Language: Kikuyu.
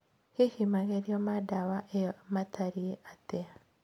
Hihi magerio ma dawa ĩyo matariĩ atĩa